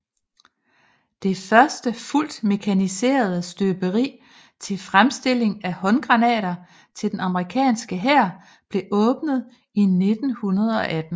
Det første fuldt mekaniserede støberi til fremstilling af håndgranater til den amerikanske hær blev åbnet i 1918